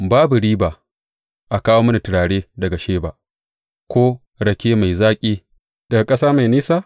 Babu riba a kawo mini turare daga Sheba ko rake mai zaƙi daga ƙasa mai nisa?